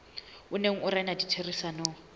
o neng o rena ditherisanong